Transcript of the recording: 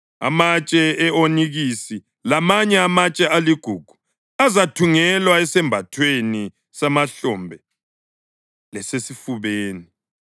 amatshe e-onikisi, lamanye amatshe aligugu azathungelwa esembathweni semahlombe lesesifubeni.